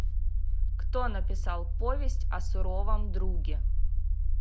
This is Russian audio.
кто написал повесть о суровом друге